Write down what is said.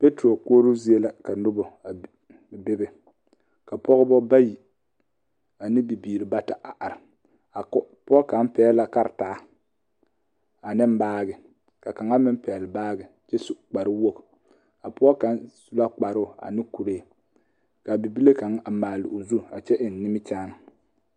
Mɔtori koɔroo zie la ka noba a be ka pɔgeba bayi ane bibiiri bata a are ka o ka pɔge kaŋ pɛgele la karentaa ane baagi ka kaŋa meŋ pɛgele baagi kyɛ su kpare wogi a pɔge kaŋ su la kparoo ane kuree ka bibile kaŋ a maale o zu a kyɛ eŋ nimukyaane